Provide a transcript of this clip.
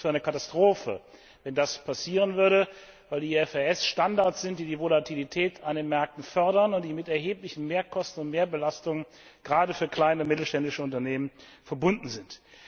Ich hielte es für eine Katastrophe, wenn das passieren würde, weil die IFRS Standards sind, die die Volatilität an den Märkten fördern und mit erheblichen Mehrkosten und Mehrbelastungen gerade für kleine und mittelständische Unternehmen verbunden sind.